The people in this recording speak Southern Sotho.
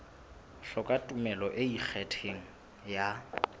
hloka tumello e ikgethang e